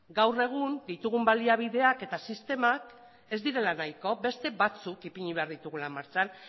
gaur egun ditugun baliabideak eta sistemak ez direla nahiko beste batzuk ipini behar ditugula martxan